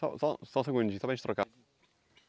Só só só um segundinho, só para gente trocar.